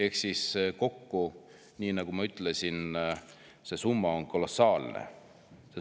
Ehk siis see summa kokku, nii nagu ma ütlesin, on kolossaalne.